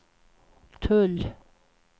tull